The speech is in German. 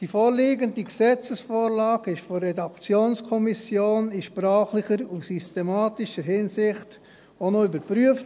Die vorliegende Gesetzesvorlage wurde von der Redaktionskommission in sprachlicher und systematischer Hinsicht überprüft.